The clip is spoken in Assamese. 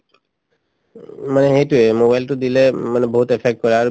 উম, মানে সেইটোয়ে mobile তো দিলে উম মানে বহুত effect কৰে আৰু